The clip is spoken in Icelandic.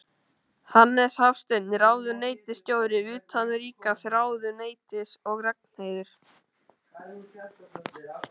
Hannes Hafstein, ráðuneytisstjóri utanríkisráðuneytis og Ragnheiður